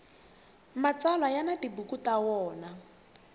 mtsalwa ya ni tibuku ta wona